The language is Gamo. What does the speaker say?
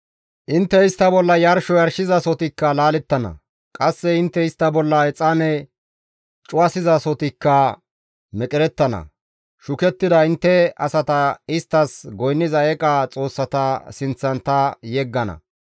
Intte istta bolla yarsho yarshizasohotikka laalettana; qasse intte istta bolla exaane cuwasizasohotikka meqerettana; shukettida intte asata isttas goynniza eeqa xoossata sinththan ta yeggana.